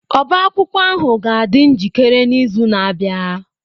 Ọbá akwụkwọ ahụ ga-adị njikere n'izu na-abịa.